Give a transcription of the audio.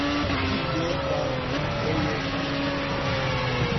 дедал поехали